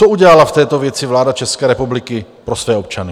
Co udělala v této věci vláda České republiky pro své občany?